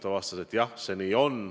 Ta vastas, et jah, nii see on.